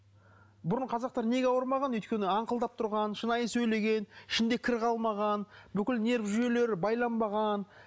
бұрын қазақтар неге ауырмаған өйткені аңқылдап тұрған шынайы сөйлеген ішінде кір қалмаған бүкіл нерв жүйелері байланбаған